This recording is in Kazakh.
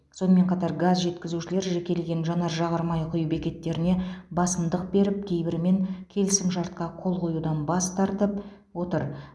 сонымен қатар газ жеткізушілер жекелеген жанар жағармай құю бекеттеріне басымдық беріп кейбірімен келісімшартқа қол қоюдан бас тартып отыр